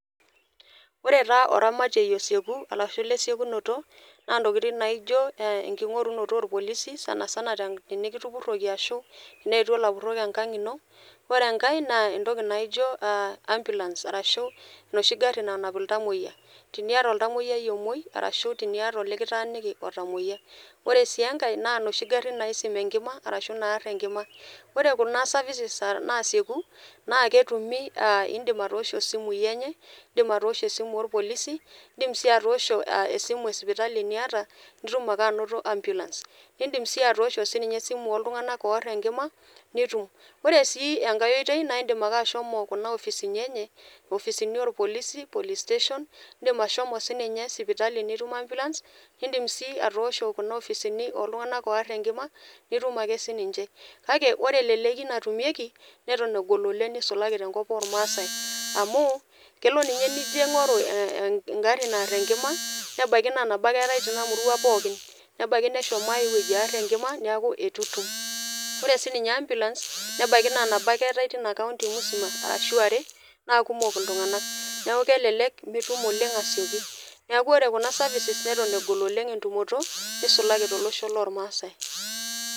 Ora taa oramatie osieku arashu lesiokinoto naa ntokitin naijo enkorunoto orpolisi , sanasana tenikitupuroki ashu teneetwo ilapurok enkang ino, ore enkae naa entoki naijo ambulance arashu enoshi gari nanap iltamoyia, teniata oltamoyiayi omwoi arashu teniata olikitaaniki lotamoyia. Ore sii enkae naa noshi garin naisima enkima arashu naar enkima . Ore kuna services naasieku naa kesioku , aa indim atoosho isimu enye , indim atoosho esimu orpolisi , indim sii atoosho esimu e sipitali niata , nindim si anoto ambulance . Indim sii atoosho enooltunganak ooar enkima nituma. Ore enkae oitoi naa indim ake ashomo kuna opisini enye, opisini orpolisi , police station indim ahomo sinye sipitali nitum ambulance , nindim sii atoosho kuna ofisini oltunganak oar enkima nitum ake sininche . Kake ore eleleki natumieki neton egol oleng nisulaki tenkop ormaasae ,amu kelo ninye nijo aingoru engari naar enkima nebaiki naa nabo ake eetae tina murua pookin, nebaiki neshomo ae wueji aar enkima , niaku itu itum. Ore sininye ambulance nebaiki naa nabo ake eeta etina county musima ashu are naa kumok iltunganak. NIaku kelelek mitum oleng asioki. Niaku ore kuna services neton egololeng entumoto nisulaki tenkop oormaasae.